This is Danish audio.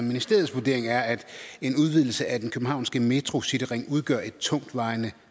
ministerens vurdering er at en udvidelse af den københavnske metro cityring udgør et tungtvejende